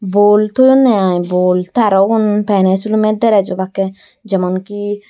bol toyonne aai bol te aro ubun peney silumey deres obakke jemonki.